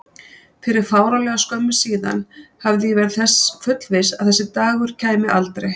Fyrir fáránlega skömmu síðan hafði ég verið þess fullviss að þessi dagur kæmi aldrei.